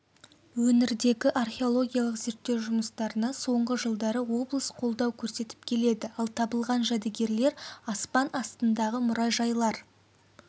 өңірдегі археологиялық зеттеу жұмыстарына соңғы жылдары облыс қолдау көрсетіп келеді ал табылған жәдігерлер аспан астындағы мұражайлар